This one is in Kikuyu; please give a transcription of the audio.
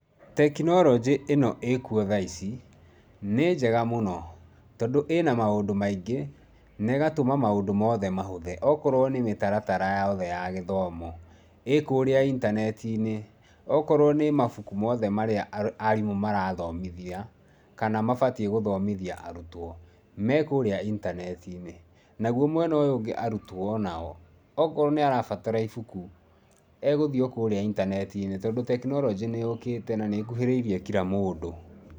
Technology ĩno ĩkuo tha ici nĩ njega mũno tondũ ĩna maũndũ maingĩ na ĩgatũma maũndũ mothe mahũthe. Okorwo nĩ mĩtaratara yothe ya mathomo, ĩ kũrĩa intaneti-inĩ. Okorwo nĩ mabuku mothe marĩa arimũ marathomithia, kana mabatiĩ gũthomithia arutwo, me kũrĩa intaneti-inĩ. Naguo mwena ũyũ ũngĩ arutwo o nao, okorwo nĩ arabatara ibuku, egũthiĩ o kũrĩa intaneti-inĩ tondũ technology nĩ yũkĩte na nĩ ĩkuhĩrĩirie kira mũndũ.